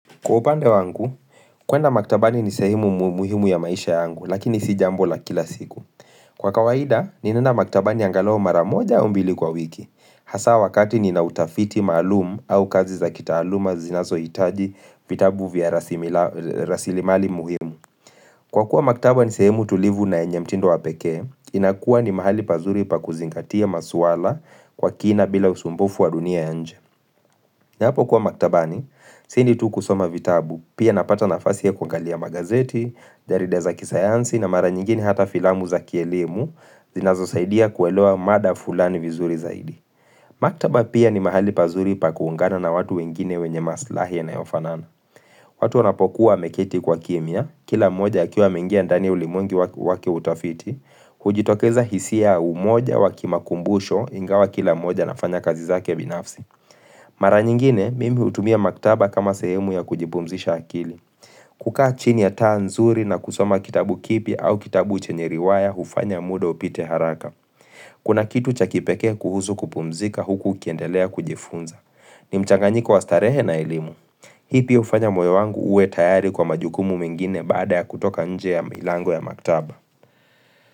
Kwa upande wangu, kwenda maktabani ni sehimu muhimu ya maisha yangu, lakini si jambo la kila siku. Kwa kawaida, ninaenda maktabani angalu mara moja au mbili kwa wiki. Hasa wakati nina utafiti maalum au kazi za kitaaluma zinazohitaji vitabu vya rasilimali muhimu. Kwa kuwa maktabani sehimu tulivu na yenye mtindo wa pekee, inakuwa ni mahali pazuri pa kuzingatia maswala kwa kina bila usumbufu wa dunia ya nje. Ninapo kuwa maktabani, si ni tu kusoma vitabu, pia napata nafasi ya kwangalia magazeti, jarida za kisayansi na mara nyingine hata filamu za kielimu, zinazo saidia kuwelewa mada fulani vizuri zaidi. Maktaba pia ni mahali pazuri pa kuungana na watu wengine wenye maslahi yanayofanana. Watu wanapokuwa ameketi kwa kimya, kila moja akiwa ameingia ndani ulimwengu wake utafiti, kujitokeza hisia umoja wakimakumbusho ingawa kila moja nafanya kazi zake binafsi. Mara nyingine, mimi hutumia maktaba kama sehemu ya kujipumzisha akili. Kukaa chini ya taa nzuri na kusoma kitabu kipi au kitabu chenye riwaya hufanya muda upite haraka. Kuna kitu cha kipekee kuhusu kupumzika huku ukiendelea kujifunza. Ni mchanganyiko wa starehe na elimu. Ipi hufanya moyo wangu uwe tayari kwa majukumu mingine baada ya kutoka nje ya milango ya maktaba.